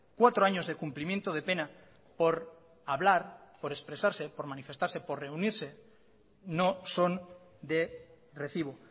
cuatro años de cumplimiento de pena por hablar por expresarse por manifestarse por reunirse no son de recibo